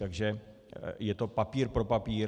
Takže je to papír pro papír.